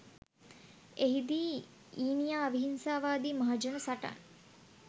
එහි දී ඊනියා අවිහිංසාවාදි මහජන සටන්